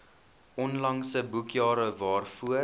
onlangse boekjare waarvoor